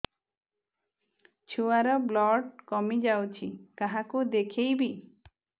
ଛୁଆ ର ବ୍ଲଡ଼ କମି ଯାଉଛି କାହାକୁ ଦେଖେଇବି